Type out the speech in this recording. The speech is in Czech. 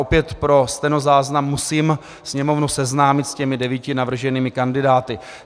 Opět pro stenozáznam musím Sněmovnu seznámit s těmi devíti navrženými kandidáty.